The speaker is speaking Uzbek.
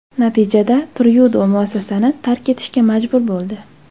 Natijada Tryudo muassasani tark etishga majbur bo‘ldi.